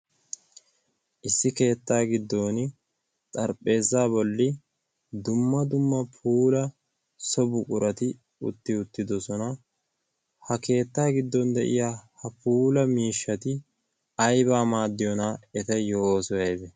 issi keettaa giddon xarphpheeza bolli dumma dumma puula so bu qurati utti uttidosona ha keettaa giddon de'iya ha puula miishshati aibaa maaddiyoonaa etayyo oosoi aibe